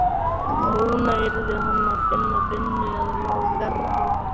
Núna yrði hann að finna vinnu eða hafa verra af.